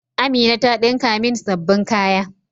Amina ta dinka min sabbin kaya.